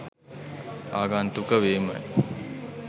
ආගන්තුක වීමයි.